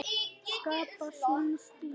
Skapa sinn stíl.